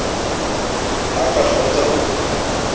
ha a ka kgaotsa ho